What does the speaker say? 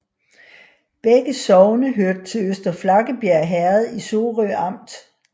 Begge sogne hørte til Øster Flakkebjerg Herred i Sorø Amt